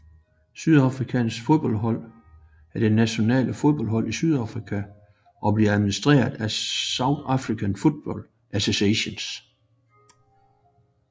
Sydafrikas fodboldlandshold er det nationale fodboldhold i Sydafrika og bliver administreret af South African Football Association